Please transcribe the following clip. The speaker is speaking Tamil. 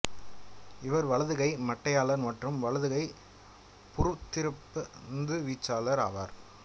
இவர் வலதுகை மட்டையாளர் மற்றும் வலதுகை புறத்திருப்ப பந்து வீச்சாளர் ஆவார்